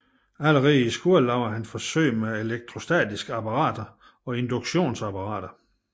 Allerede i skolen lavede han forsøg med elektrostatiske apparater og induktionsapparater